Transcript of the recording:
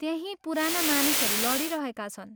त्यही पुराना मानिसहरू लडिरहेका छन्।